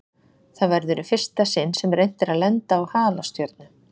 Það verður í fyrsta sinn sem reynt er að lenda á halastjörnu.